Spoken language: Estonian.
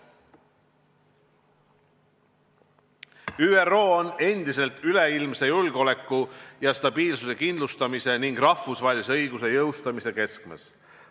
ÜRO on endiselt üleilmse julgeoleku ja stabiilsuse kindlustamise ning rahvusvahelise õiguse jõustamise keskmes.